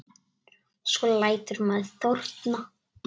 Svo lætur maður þorna.